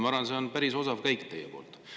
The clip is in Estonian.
Ma arvan, et see on päris osav käik teie poolt.